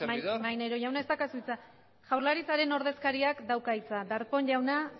servidor maneiro jauna ez daukazu hitza jaurlaritzaren ordezkariak dauka hitza darpón jauna